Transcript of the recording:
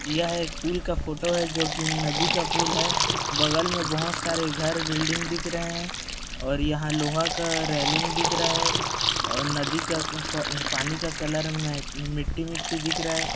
यह का पुल का फोटो है जोकि नदी का पुल है बगल में बहोत सारे घर बिल्डिंग दिख रहे है और यहाँ लोहा का रेलिंग दिख रहा है और नदी का उम्म आ पानी का कलर में मिट्टी-मिट्टी दिख रहा है।